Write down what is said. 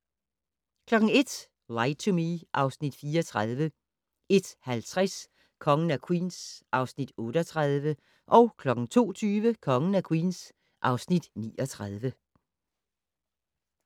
01:00: Lie to Me (Afs. 34) 01:50: Kongen af Queens (Afs. 38) 02:20: Kongen af Queens (Afs. 39)